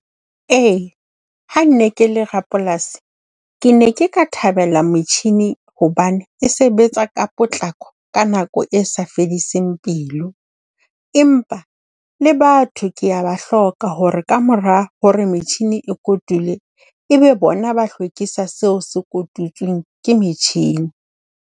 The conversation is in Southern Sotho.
Ee ha nne ke le rapolasi, ke ne ke ka thabela motjhini hobane e sebetsa ka potlako ka nako e sa fediseng pelo. E mpa le batho ke ya ba hloka hore ka mora hore metjhini e kotule, ebe bona ba hlwekisa seo se kotutsweng ke metjhini.